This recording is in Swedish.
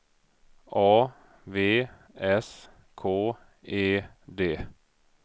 A V S K E D